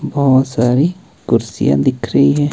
बहोत सारी कुर्सियां दिख रही है।